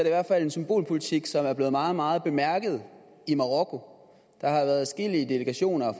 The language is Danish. i hvert fald en symbolpolitik som er blevet meget meget bemærket i marokko der har været adskillige delegationer